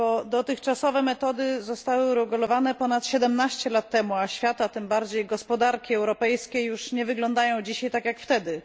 Dotychczasowe metody zostały uregulowane ponad 17 lat temu, a świat a tym bardziej gospodarki europejskie już nie wyglądają dzisiaj tak, jak wtedy.